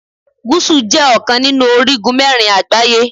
Gúsù jẹ́ ọ̀kan nínú orígun mẹ́rin àgbáyé.